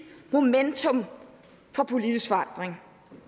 momentum for politisk forandring